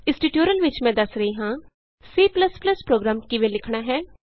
ਇਸ ਟਯੂਟੋਰਿਅਲ ਵਿਚ ਮੈਂ ਦੱਸ ਰਹੀ ਹਾਂ C ਪ੍ਰੋਗਰਾਮ ਕਿਵੇਂ ਲਿਖਣਾ ਹੈ